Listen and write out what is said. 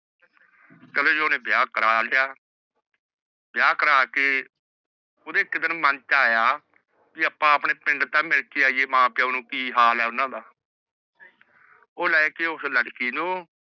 ਚਲੋ ਜੇਹ ਓਹਨੇ ਵਿਆਹ ਕਰ ਲਾਯਾ ਵਿਆਹ ਕਰ ਕੇ ਓਹਨੇ ਏਕ ਦਿਨ ਮੰਨ ਚ ਆਯਾ ਕੀ ਅਪ੍ਪਾ ਆਪਣੇ ਪਿੰਡ ਚ ਮਿਲ ਕੇ ਆਈਏ ਮਾਂ ਪਿਓ ਨੂ ਕੀ ਹਾਲ ਆਹ ਓਹਨਾ ਦਾ ਊਹ ਲੇਕੇ ਉਸ ਲੜਕੀ ਨੂ